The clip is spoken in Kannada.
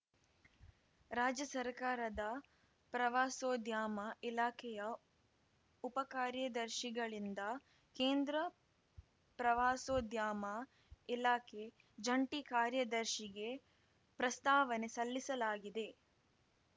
ರಾಜ್ಯ ಸರ್ಕಾರದ ಪ್ರವಾಸೋದ್ಯಮ ಇಲಾಖೆಯ ಉಪ ಕಾರ್ಯದರ್ಶಿಗಳಿಂದ ಕೇಂದ್ರ ಪ್ರವಾಸೋದ್ಯಮ ಇಲಾಖೆ ಜಂಟಿ ಕಾರ್ಯದರ್ಶಿಗೆ ಪ್ರಸ್ತಾವನೆ ಸಲ್ಲಿಸಲಾಗಿದೆ